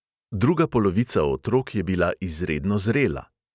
Druga polovica otrok je bila izredno zrela.